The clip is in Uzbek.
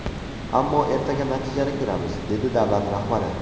Ammo ertaga natijani ko‘ramiz”, dedi davlat rahbari.